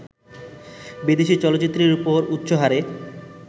বিদেশি চলচ্চিত্রের ওপর উচ্চহারে